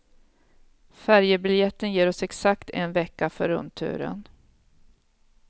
Färjebiljetten ger oss exakt en vecka för rundturen.